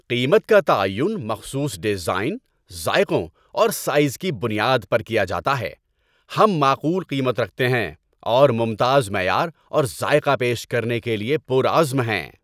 قیمت کا تعین مخصوص ڈیزائن، ذائقوں اور سائز کی بنیاد پر کیا جاتا ہے۔ ہم معقول قیمت رکھتے ہیں اور ممتاز معیار اور ذائقہ پیش کرنے کے لیے پُرعزم ہیں۔